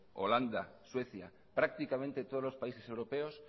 holanda suecia prácticamente todos los países europeos